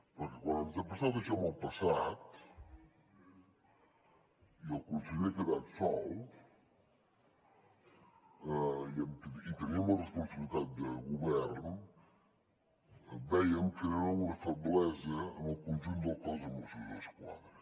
perquè quan ens ha passat això en el passat i el conseller ha quedat sol i teníem la responsabilitat de govern vèiem que era una feblesa en el conjunt del cos de mossos d’esquadra